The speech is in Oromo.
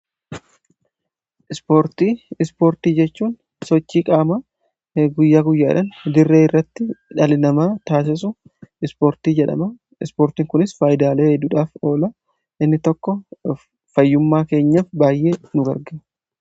ispoortii jechuun sochii qaamaa guyyaa guyyaadhan dirree irratti dhalli namaa taasisu ispoortii jedhama. ispoortiin kunis faayidaalee hedduudhaaf ola inni tokko fayyummaa keenyaaf baayyee nu garga